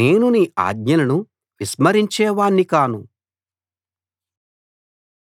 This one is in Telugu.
నేను నీ ఆజ్ఞలను విస్మరించేవాణ్ణి కాను